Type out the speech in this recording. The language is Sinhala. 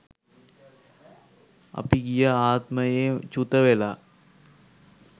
අපි ගිය ආත්මයේ චුතවෙලා